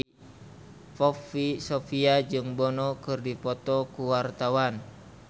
Poppy Sovia jeung Bono keur dipoto ku wartawan